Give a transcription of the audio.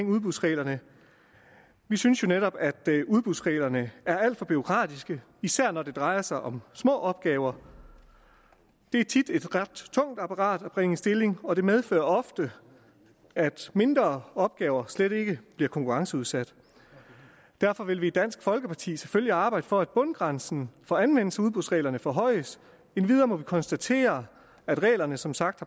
udbudsreglerne vi synes jo netop at udbudsreglerne er alt for bureaukratiske især når det drejer sig om små opgaver det er tit et ret tungt apparat at bringe i stilling og det medfører ofte at mindre opgaver slet ikke bliver konkurrenceudsat derfor vil vi i dansk folkeparti selvfølgelig arbejde for at bundgrænsen for anvendelse af udbudsreglerne forhøjes endvidere må vi konstatere at reglerne som sagt